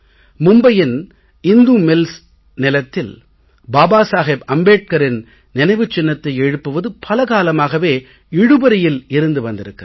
மும்பையின் இந்து மில்ஸ் நிலத்தில் பாபா சாஹேப் அம்பேட்கரின் நினைவுச் சின்னத்தை எழுப்புவது பல காலமாகவே இழுபறியில் இருந்து வந்திருக்கிறது